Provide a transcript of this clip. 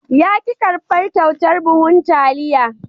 Ya ki karbar kyautar buhun taliya.